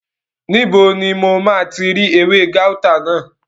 Níbo ni mo máa ti rí ewé gáútà náà?